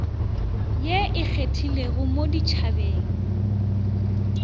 ye e kgethegileng mo ditšhabeng